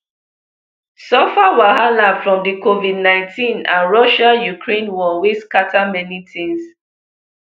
suffer wahala from di covid nineteen and russiaukraine war wey scatter many tins